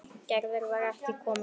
Gerður var ekki komin.